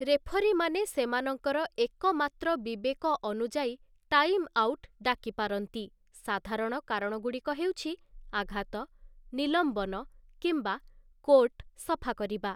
ରେଫରୀମାନେ ସେମାନଙ୍କର ଏକମାତ୍ର ବିବେକ ଅନୁଯାୟୀ ଟାଇମଆଉଟ୍ ଡାକିପାରନ୍ତି, ସାଧାରଣ କାରଣଗୁଡ଼ିକ ହେଉଛି ଆଘାତ, ନିଲମ୍ବନ, କିମ୍ୱା କୋର୍ଟ ସଫା କରିବା ।